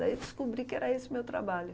Aí eu descobri que era esse o meu trabalho.